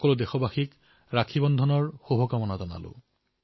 সকলো দেশবাসীলৈ ৰক্ষাবন্ধনৰ অনেক শুভকামনা থাকিল